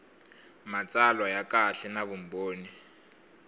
matsalwa ya kahle na vumbhoni